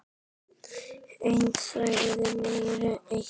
En segðu mér eitt